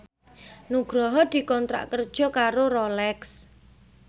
Nugroho dikontrak kerja karo Rolex